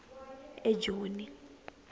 ejoni